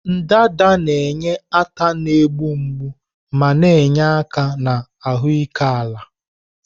ndanda na-enye ata na-egbu mgbu ma na-enye aka na ahụike ala.